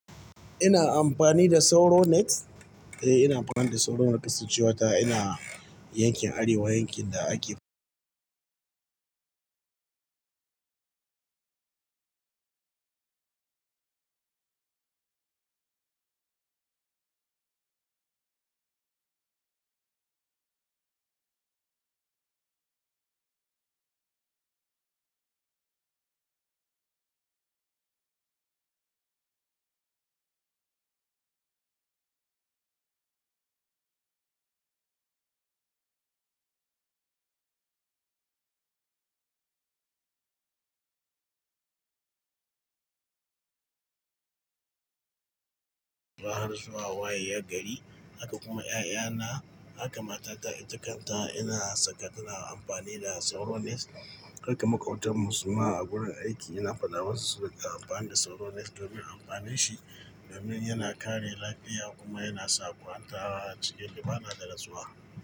Ina amfani da Sauro net, eh ina amfani da Sauro net, kasancewa ta ina yankin Arewa, yankin da ake- Gara zuwa waye ya gari, haka kuma 'ya'yana, haka matata ita kanta ina saka tana amfani da Sauro net. Haka maƙotarmu suma a wurin aiki ina faɗa mu su, su riƙa amfani da Sauro net domin amfanin shi, domin yana kare lafiya kuma yana sauƙaƙanta a cikin limana da rasuwa.